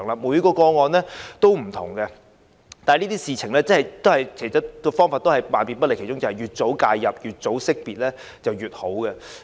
每宗個案都不同，但處理這些事情的方法總永遠也是越早識別、越早介入越好。